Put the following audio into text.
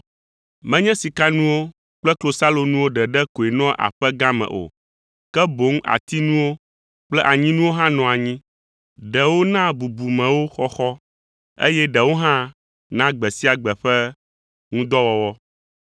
Menye sikanuwo kple klosalonuwo ɖeɖe koe nɔa aƒe gã me o, ke boŋ atinuwo kple anyinuwo hã nɔa anyi, ɖewo na bubumewo xɔxɔ, eye ɖewo hã na gbe sia gbe ƒe ŋudɔwɔwɔ.